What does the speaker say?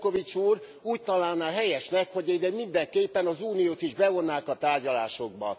Šefčovič úr úgy találná helyesnek, hogy ide mindenképpen az Uniót is bevonnák a tárgyalásokba.